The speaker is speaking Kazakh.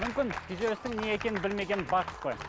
мүмкін күйзелістің не екенін білмеген қой